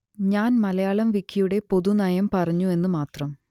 ഞാൻ മലയാളം വിക്കിയുടെ പൊതു നയം പറഞ്ഞു എന്ന് മാത്രം